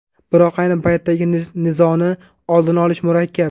Biroq ayni paytdagi nizoni oldini olish murakkab.